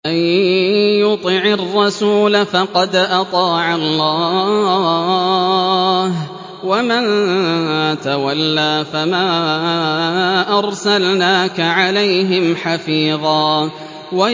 مَّن يُطِعِ الرَّسُولَ فَقَدْ أَطَاعَ اللَّهَ ۖ وَمَن تَوَلَّىٰ فَمَا أَرْسَلْنَاكَ عَلَيْهِمْ حَفِيظًا